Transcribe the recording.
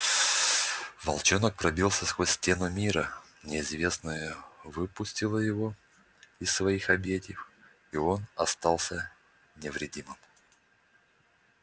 волчонок пробился сквозь стену мира неизвестное выпустило его из своих объятий и он остался невредимым